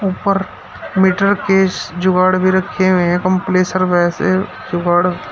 ऊपर meter case जुगाड़ भी रखे हुए हैं कंप्लेसर वैसे जुगाड़--